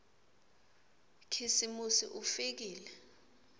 khisimusi ufikile